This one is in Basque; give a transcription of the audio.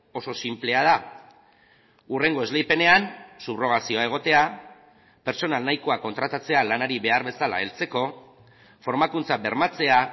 oso sinplea da hurrengo esleipenean subrrogazioa egotea pertsona nahikoa kontratatzea lanari behar bezala heltzeko formakuntza bermatzea